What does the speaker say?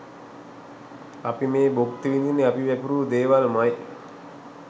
අපි මේ භුක්ති විදින්නෙ අපි වැපිරූ දේවල්මයි‍.